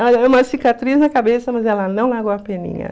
Ela ganhou uma cicatriz na cabeça, mas ela não largou a peninha.